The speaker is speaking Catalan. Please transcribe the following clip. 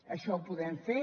això ho podem fer